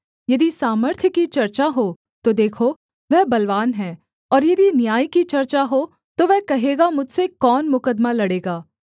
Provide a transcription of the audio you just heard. यदि सामर्थ्य की चर्चा हो तो देखो वह बलवान है और यदि न्याय की चर्चा हो तो वह कहेगा मुझसे कौन मुकद्दमा लड़ेगा